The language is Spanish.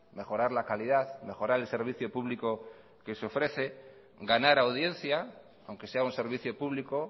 mejorar la calidad mejorar el servicio público que se ofrece ganar audiencia aunque sea un servicio público